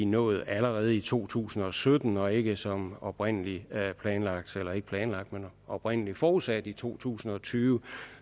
nået allerede i to tusind og sytten og ikke som oprindelig oprindelig forudsat i to tusind og tyve